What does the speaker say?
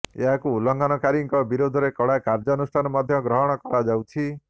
ଏହାକୁ ଉଲ୍ଲଘଂନକାରୀଙ୍କ ବିରୋଧରେ କଡ଼ା କାର୍ଯ୍ୟାନୁଷ୍ଠାନ ମଧ୍ୟ ଗ୍ରହଣ କରାଯାଉଛି